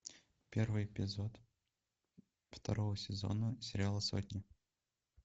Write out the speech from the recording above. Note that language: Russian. первый эпизод второго сезона сериала сотня